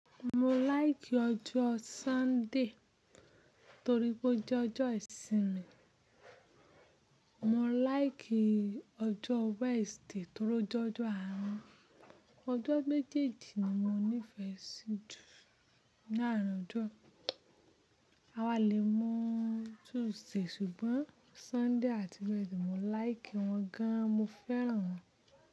Mo láìkì ọjọ́ Sunday torí pé ó jẹ́ ọjọ́ ìsinmi. Mo láìkì ọjọ́ Wednesday torí ó jẹ́ ọjọ́ ààrin. Ọjọ́ méjèèjì ni mo nífẹ̀ẹ́ sí jù láàárín ọjọ́. A wà lè mu Tuesday ṣùgbọ́n Sunday àti Wednesday mo láìkì wọn gan, mo fẹ́ràn wọn.